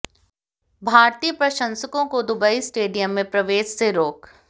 भारतीय प्रशंसकों को दुबई स्टेडियम में प्रवेश से रोक